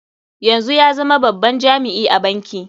Yanzu ya zama babban jami'i a banki.